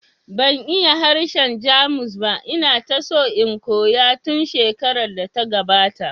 Ban iya harshen Jamus ba, ina ta so in koya tun shekarar da ta gabata